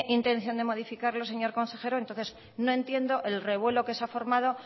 intención de modificarlo señor consejero entonces no entiendo el revuelo que se ha formado